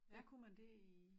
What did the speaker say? Der kunne man det i